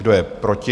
Kdo je proti?